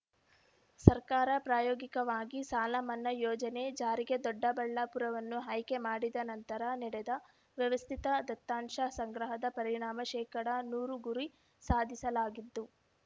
ಸರ್ಕಾರ ಪ್ರಾಯೋಗಿಕವಾಗಿ ಸಾಲ ಮನ್ನಾ ಯೋಜನೆ ಜಾರಿಗೆ ದೊಡ್ಡಬಳ್ಳಾಪುರವನ್ನು ಆಯ್ಕೆ ಮಾಡಿದ ನಂತರ ನಡೆದ ವ್ಯವಸ್ಥಿತ ದತ್ತಾಂಶ ಸಂಗ್ರಹದ ಪರಿಣಾಮ ಶೇಕಡಾ ನೂರು ಗುರಿ ಸಾಧಿಸಲಾಗಿದ್ದು